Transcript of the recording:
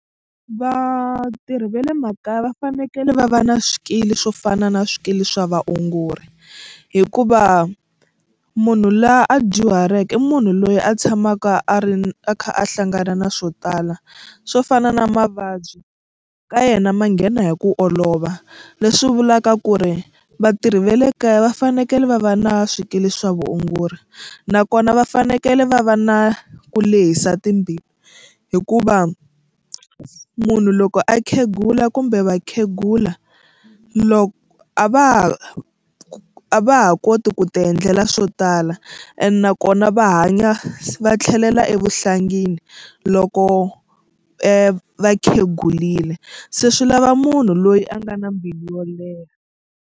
Vatirhi va le makaya va fanekele va va na swikili swo fana na swikili swa vaongori hikuva munhu laha a dyuhaleke i munhu loyi a tshamaka a ri a kha a hlangana na swo tala swo fana na mavabyi ka yena ma nghena hi ku olova leswi vulaka ku ri vatirhi va le kaya va fanekele va va na swikili swa vuongori nakona va fanekele va va na ku lehisa timbilu hikuva munhu loko a khegula kumbe vakhegula loko a va ha a va ha koti ku tiendlela swo tala ene nakona va hanya va tlhelela evuhlangini loko va khegurile se swi lava munhu loyi a nga na mbilu yo leha.